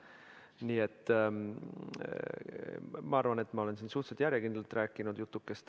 Nii et ma arvan, et ma olen siin suhteliselt järjekindlalt rääkinud jutukest.